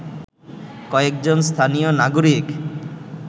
কয়েকজন স্থানীয় নাগরিক